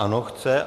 Ano chce.